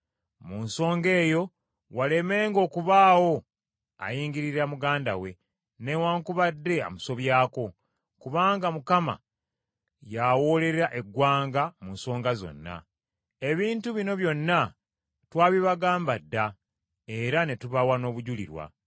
Mu nsonga eyo walemenga okubaawo ayingirira muganda we, newaakubadde amusobyako, kubanga Mukama yawoolera eggwanga mu nsonga zino. Ebintu bino byonna twabibagamba dda era ne tubawa n’obujulirwa.